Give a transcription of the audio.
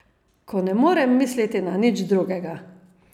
Ko ne morem misliti na nič drugega.